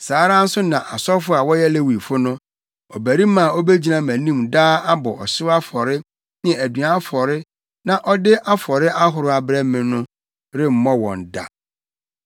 saa ara nso na asɔfo a wɔyɛ Lewifo no, ɔbarima a obegyina mʼanim daa abɔ ɔhyew afɔre ne aduan afɔre na ɔde afɔre ahorow abrɛ me, remmɔ wɔn da.’ ”